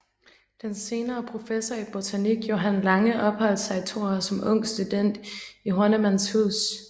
Den senere professor i botanik Johan Lange opholdt sig i to år som ung student i Hornemanns hus